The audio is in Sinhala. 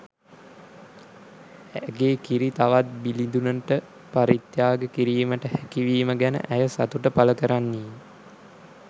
ඇගේ කිරි තවත් බිළිදුනට පරිත්‍යාග කිරීමට හැකි වීම ගැන ඇය සතුට පළ කරන්නීය.